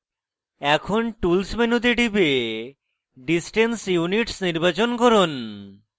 এখন tools মেনুতে টিপে distance units নির্বাচন করুন